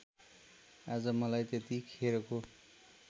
आज मलाई त्यतिखेरको